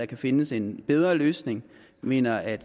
kan findes en bedre løsning vi mener at